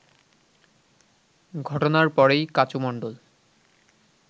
ঘটনার পরেই কাচু মণ্ডল